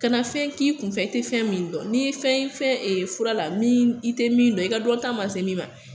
Kana fɛn k'i kun fɛ tɛ fɛn min dɔn n'i ye fɛn fɛn fura la i tɛ min dɔn i ka dɔn ta ma min ma.